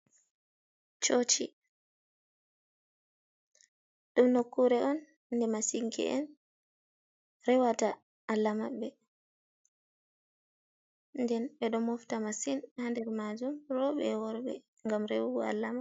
Cooci ɗum nokkuure on nde masinke’en rewata Allah maɓɓe nden ɓe ɗo mofta masin haa nder maajum, rooɓe e worɓe ngam rewogo Allah maɓɓe.